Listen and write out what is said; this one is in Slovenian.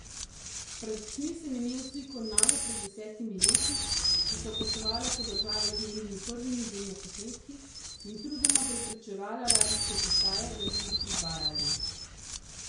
Pred očmi sem imel sliko naju pred desetimi leti, ko sva potovala po državi z njenimi prvimi demoposnetki in trudoma prepričevala radijske postaje, da bi jih predvajali.